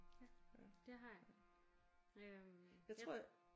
Ja det har jeg. Øh jeg